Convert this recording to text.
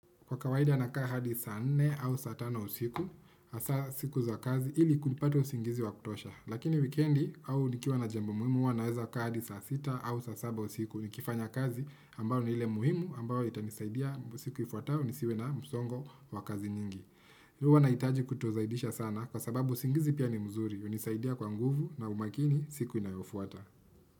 Kwa kawaida nakaa hadi saa nne au saa tano usiku, hasa siku za kazi ili kulipata usingizi wa kutosha. Lakini wikendi au nikiwa na jambo muhimu huwa naweza kaa hadi saa sita au saa saba usiku. Nikifanya kazi ambayo ni ile muhimu ambayo itanisaidia siku ifuatayo nisiwe na msongo wa kazi nyingi. Huwa nahitaji kutozaidisha sana kwa sababu usingizi pia ni mzuri. Hunisaidia kwa nguvu na umakini siku inayofuata.